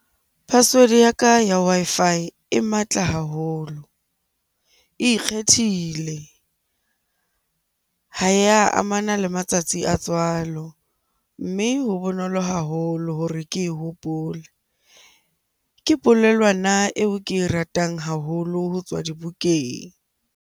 Password ya ka ya Wi-Fi e matla haholo, e ikgethile, ha ya amana le matsatsi a tswalo, mme ho bonolo haholo hore ke hopole. Ke polelwana eo ke e ratang haholo ho tswa dibukeng.